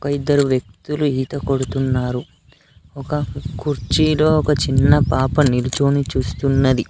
ఇద్దరు వ్యక్తులు ఈత కొడుతున్నారు ఒక కుర్చీలో ఒక చిన్న పాప నిలుచొని చూస్తున్నది.